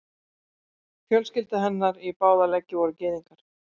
Fjölskylda hennar í báða leggi voru gyðingar.